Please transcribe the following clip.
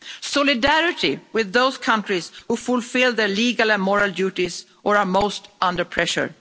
Solidarity with those countries who fulfil their legal and moral duties or are most under pressure.